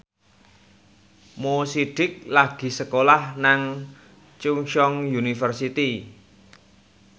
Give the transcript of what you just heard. Mo Sidik lagi sekolah nang Chungceong University